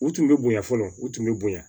U tun bɛ bonya fɔlɔ u tun bɛ bonya